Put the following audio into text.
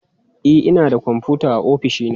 E, ina da kwamfuta a ofishi na